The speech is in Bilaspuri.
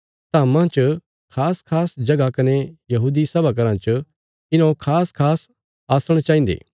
धाम्मां च खासखास जगह कने यहूदी सभा घराँ च इन्हौं खासखास आसण चाहिन्दे